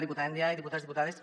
diputada ndiaye diputats diputades